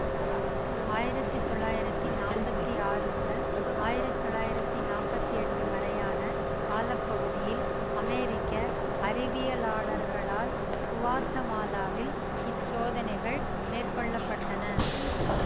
ஆயிரத்தி தொள்ளாயிரத்தி நாப்பத்தி ஆறு முதல் ஆயிரத்தி தொள்ளாயிரத்தி நாப்பத்தி எட்டு வரையான கால பகுதியில் அமெரிக்க அறிவியலாளர்களால் குவாத்தமாலாவில் இச்சோதனைகள் மேற்கொள்ள பட்டன